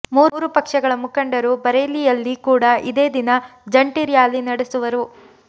ಮೂರೂ ಪಕ್ಷಗಳ ಮುಖಂಡರು ಬರೇಲಿಯಲ್ಲಿ ಕೂಡಾ ಇದೇ ದಿನ ಜಂಟಿ ರ್ಯಾಲಿ ನಡೆಸುವರು